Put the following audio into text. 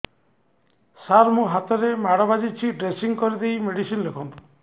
ସାର ମୋ ହାତରେ ମାଡ଼ ବାଜିଛି ଡ୍ରେସିଂ କରିଦେଇ ମେଡିସିନ ଲେଖନ୍ତୁ